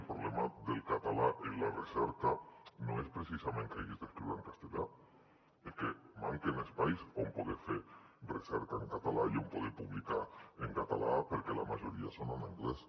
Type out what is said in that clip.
el problema del català en la recerca no és precisament que hages d’escriure en castellà és que manquen espais on poder fer recerca en català i on poder publicar en català perquè la majoria són en anglès